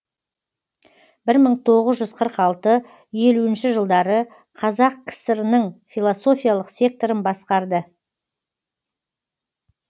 бір мың тоғыз жүз қырық алты елуінші жылдары қазақ кср ның философиялық секторын басқарды